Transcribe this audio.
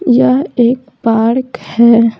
यह एक पार्क है।